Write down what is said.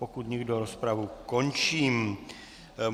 Pokud nikdo, rozpravu končím.